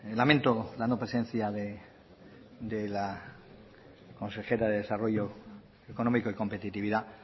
lamento la no presencia de la consejera de desarrollo económico y competitividad